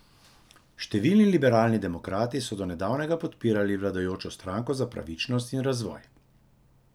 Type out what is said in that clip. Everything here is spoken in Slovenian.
Številni liberalni demokrati so do nedavnega podpirali vladajočo Stranko za pravičnost in razvoj.